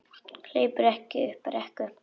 Hleypur upp brekku.